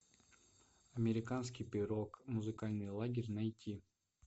американский пирог музыкальный лагерь найти